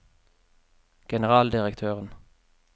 generaldirektøren